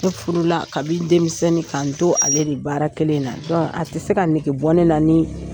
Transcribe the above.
Ne furula kabi denmisɛnnin k'an to ale ni baara kelen in na. a tɛ se ka nɛge bɔ ne la ni